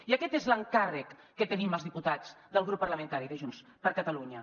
i aquest és l’encàrrec que tenim els diputats del grup parlamentari de junts per catalunya